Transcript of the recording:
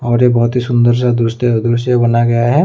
और ये बहोत ही सुंदर सा दृश्य बनाया गया है।